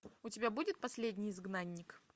у тебя будет последний изгнанник